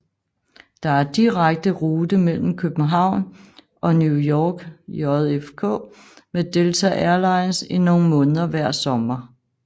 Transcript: Der er direkte rute mellem København og New York JFK med Delta Airlines i nogle måneder hver sommer